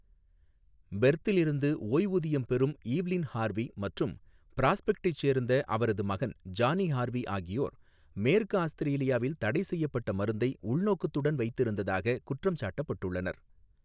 பெர்த்தில் இருந்து ஓய்வூதியம் பெறும் ஈவ்லின் ஹார்வி மற்றும் பிராஸ்பெக்டைச் சேர்ந்த அவரது மகன் ஜானி ஹார்வி ஆகியோர் மேற்கு ஆஸ்திரேலியாவில் தடைசெய்யப்பட்ட மருந்தை உள்நோக்கத்துடன் வைத்திருந்ததாக குற்றம் சாட்டப்பட்டுள்ளனர்.